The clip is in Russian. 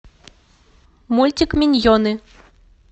мультик миньоны